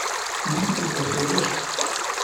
будет ли завтра дождь